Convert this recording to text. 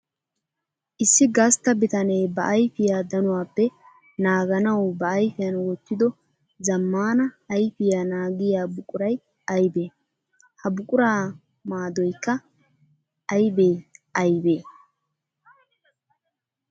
Issi gastta bitanne ba ayfiya danuwappe naaganawu ba ayfiyan wottiddo zamaana ayfiya naagiya buquray aybbe? Ha buqura maadoykka aybbe aybbe?